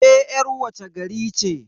Ke yar wace gari ce?